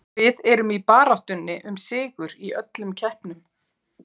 Við erum í baráttunni um sigur í öllum keppnum.